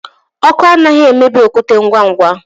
Ọkụ anaghị emebi okwute ngwa ngwa.